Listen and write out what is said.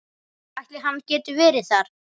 Ætli hann geti verið þar?